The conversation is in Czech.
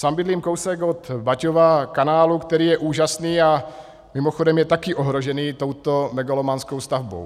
Sám bydlím kousek od Baťova kanálu, který je úžasný a mimochodem je taky ohrožený touto megalomanskou stavbou.